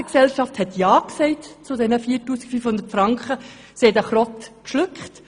Auch die Ärztegesellschaft hat zu diesen 4500 Franken ja gesagt und diese Kröte geschluckt.